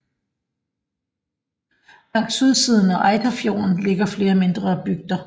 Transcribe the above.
Langs sydsiden af Eiterfjorden ligger flere mindre bygder